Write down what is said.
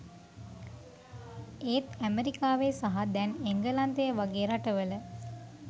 එත් ඇමරිකාවේ සහ දැන් එංගලන්තය වගේ රටවල